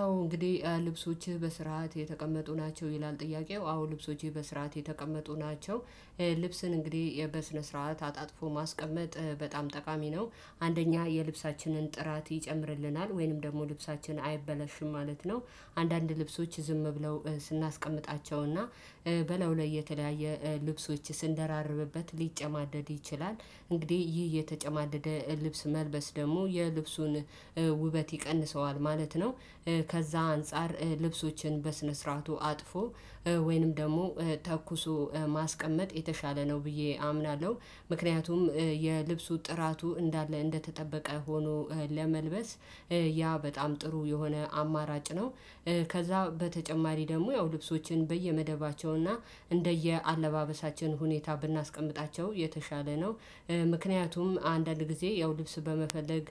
አዎ እንግዲህ ልብሶችህ በስርዓት የተቀመጡ ናቸው ይላል። ጥያቄው አዎ ልብሶቼ በስርዓት የተቀመጡ ናቸው። ልብስን እንግዲህ በስነ ስርዓት አጣጥፎ ማስቀመጥ በጣም ጠቃሚ ነው። አንደኛ የልብሳችንን ጥራት ይጨምርልናል ወይንም ደግሞ ልብሳችን አይበላሽም ማለት ነው። አንዳንድ ልብሶች ዝም ብለው ስናስቀምጣቸውና በላዩ ላይ የተለያየ ልብሶች ስንደራርብበት ሊጨማደድ ይችላል እንግዲህ ይህ የተጨማደደ ልብስ መልበስ ደግሞ የልብሱን ውበት ይቀንሰዋል ማለት ነው። ከዛ አንፃር ልብሶችን በስነ ስርዓቱ አጥፎ ወይንም ደግሞ ተኩሶ ማስቀመጥ የተሻለ ነው ብዬ አምናለሁ። ምክንያቱም የልብሱ ጥራቱ እንዳለ እንደተጠበቀ ሆኖ ለመልበስ ያ በጣም ጥሩ የሆነ አማራጭ ነው። ከዛ በተጨማሪ ደግሞ ያው ልብሶችን በየመደባቸውና እንደየአለባበሳችን ሁኔታ ብናስቀምጣቸው የተሻለ ነው። ምክንያቱም አንዳንድ ጊዜ ያው ልብስ በመፈለግ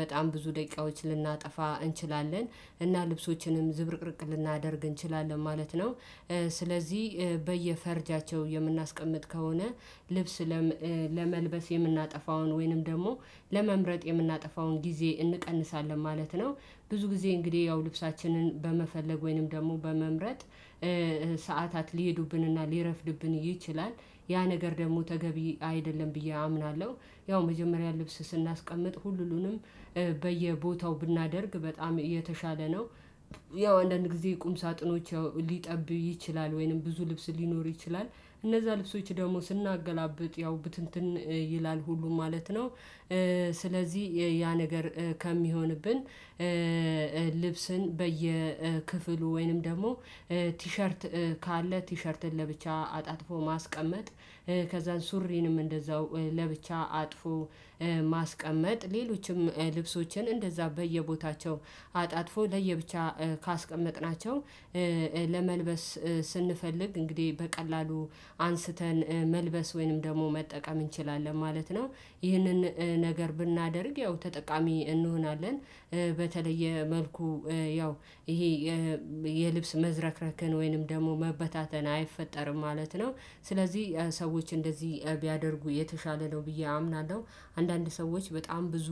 በጣም ብዙ ደቂቃዎች ልናጠፋ እንችላለን እና ልብሶችንም ዝብርቅርቅ ልናደርግ እንችላለን ማለት ነው። ስለዚህ በየፈርጃቸው የምናስቀምጥ ከሆነ ልብስ ለመልበስ የምናጠፋውን ወይንም ደግሞ ለመምረጥ የምናጠፋውን ጊዜ እንቀንሳለን ማለት ነው። ብዙ ጊዜ እንግዲህ ያው ልብሳችንን በመፈለግ ወይንም ደግሞ በመምረጥ ሰዓታት ሊሄዱብንና ሊረፍድብን ይችላል ያ ነገር ደግሞ ተገቢ አይደለም ብዬ አምናለሁ። ያው መጀመሪያ ልብስ ስናስቀምጥ ሁሉንም በየቦታው ብናደርግ በጣም የተሻለ ነው። ያው አንዳንድ ጊዜ ቁም ሳጥኖች ሊጠብብ ይችላል ወይንም ብዙ ልብስ ሊኖር ይችላል እነዛ ልብሶች ደግሞ ስናገላብጥ ያው ብትንትን ይላል ሁሉም ማለት ነው። ስለዚህ ያ ነገር ከሚሆንብን ልብስን በየክፍሉ ወይንም ደግሞ ቲሸርት ካለ ቲሸርትን ለብቻ አጣጥፎ ማስቀመጥ ከዛ ሱሪንም እንደዛው ለብቻ አጥፎ ማስቀመጥ ሌሎችም ልብሶችን እንደዛ በየቦታቸው አጣጥፎ ለየብቻ ካስቀመጥናቸው ለመልበስ ስንፈልግ እንግዲህ በቀላሉ አንስተን መልበስ ወይንም ደግሞ መጠቀም እንችላለን ማለት ነው። ይህንን ነገር ብናደርግ ያው ተጠቃሚ እንሆናለን። በተለየ መልኩ ያው ይሄ የልብስ መዝረክረክን ወይንም ደግሞ መበታተን አይፈጠርም ማለት ነው ስለዚህ ሰዎች እንደዚህ ቢያደርጉ የተሻለ ነው ብዬ አምናለሁ። አንዳንድ ሰዎች በጣም ብዙ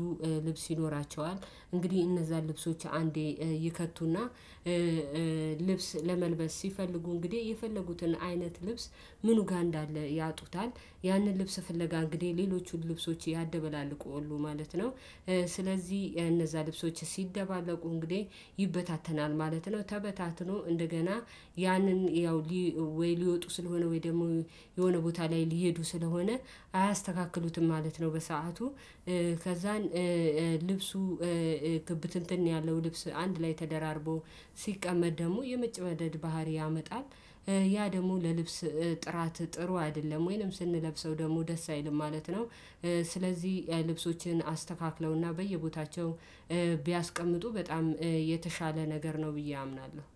ልብስ ይኖራቸዋል እንግዲህ እነዛን ልብሶች አንዴ ይከትቱና ልብስ ለመልበስ ሲፈልጉ እንግዲህ የፈለጉትን አይነት ልብስ ምኑ ጋር እንዳለ ያጡታል ያንን ልብስ ፍለጋ እንግዲህ ሌሎቹን ልብሶች ያደበላልቃሉ ማለት ነው። ስለዚህ እነዛ ልብሶች ሲደባለቁ እንግዲህ ይበታተናል ማለት ነው ተበታትኖ እንደገና ያንን ያው ሊወጡ ስለሆነ ወይ ደግሞ የሆነ ቦታ ላይ ሊሄዱ ስለሆነ አያስተካክሉትም ማለት ነው። በሰአቱ ከዛን ልብሱ ብትንትን ያለው ልብስ አንድ ላይ ተደራርቦ ሲቀመጥ ደግሞ የመጨማደድ ባህሪ ያመጣል ያ ደግሞ ለልብስ ጥራት ጥሩ አይደለም ወይንም ስንለብሰው ደግሞ ደስ አይልም ማለት ነው። ስለዚህ ልብሶችን አስተካክለውና በየቦታቸው ቢያስቀምጡ በጣም የተሻለ ነገር ነው ብዬ አምናለሁ።